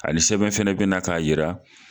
A ni sɛbɛn fana bɛna na k'a jira.